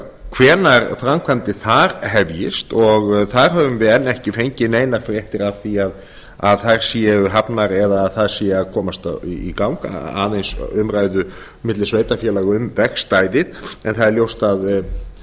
hvenær framkvæmdir þar hefjist og þar höfum við enn ekki fengið neinar fréttir af því að þær séu hafnar eða þær séu að komast í gang aðeins umræðu milli sveitarfélaga um vegstæðið en það er ljóst ef það